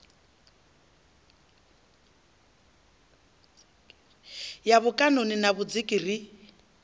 ya mikaṋoni na vhudziki ri